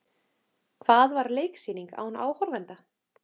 Hvað var leiksýning án áhorfenda?